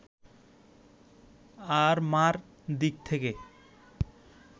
আর মা’র দিক থেকে